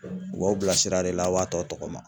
U b'aw bila sira de la a' b'a tɔ tɔgɔma.